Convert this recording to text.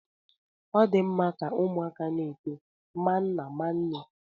Ọ dị mma ka ụmụaka na-eto ma nna ma nne